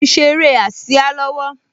Mo ń ṣe eré ásíá lọ́wọ́